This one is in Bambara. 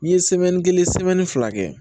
N'i ye kelen fila kɛ